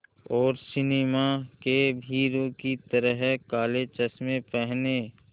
और सिनेमा के हीरो की तरह काले चश्मे पहने